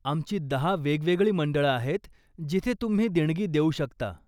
आमची दहा वेगवेगळी मंडळं आहेत जिथे तुम्ही देणगी देऊ शकता.